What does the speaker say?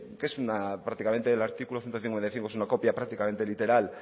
que el artículo ciento cincuenta y cinco es una copia prácticamente literal